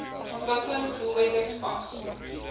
ontwikkelings doelwitte spas